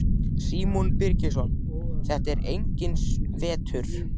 Símon Birgisson: Þetta er enginn vetur?